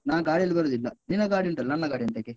ನಾನ್ ಗಾಡಿಯಲ್ಲಿ ಬರುದಿಲ್ಲ, ನಿನ್ನ ಗಾಡಿ ಉಂಟಲ್ಲ, ನನ್ನ ಗಾಡಿ ಎಂತಕ್ಕೆ?